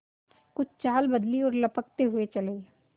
कुछ चाल बदली और लपकते हुए चले